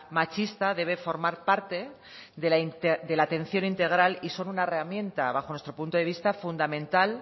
machista debe formar parte de la atención integral y son una herramienta bajo nuestro punto de vista fundamental